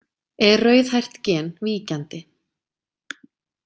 Er rauðhært gen víkjandi.